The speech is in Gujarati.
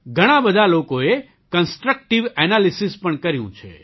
ઘણા બધા લોકોએ કન્સ્ટ્રક્ટિવ એનાલિસિસ પણ કર્યું છે